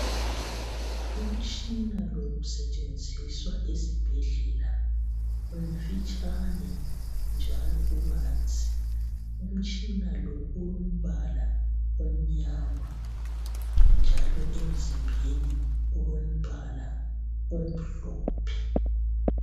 Umtshina lo usetshenziswa esibhedlela umfitshane njalo ubanzi umtshina lo ulombala omnyama njalo emzimbeni ulombala omhlophe.